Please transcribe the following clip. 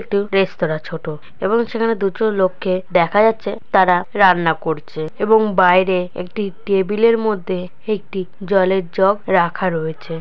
একটি রেস্তোরা ছোট এবং এখানে দুটো লোক কে দেখ যাচ্ছে তারা রান্না করছে এবং বাইরে একটি টেবিল -এর মধ্যে একটি জলের জগ রাখা রয়েছে।